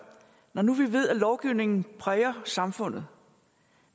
når nu vi ved at lovgivningen præger samfundet